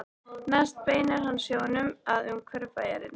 Næst beinir hann sjónum að umhverfi bæjarins.